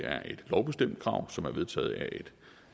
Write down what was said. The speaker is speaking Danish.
er et lovbestemt krav som er vedtaget af et